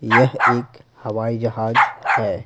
यह एक हवाई जहाज है।